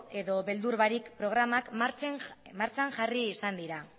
edo beldur barik programak martxan jarri izan dira